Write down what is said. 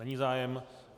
Není zájem.